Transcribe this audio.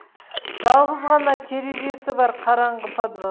жалғыз ғана терезесі бар қараңғы подвал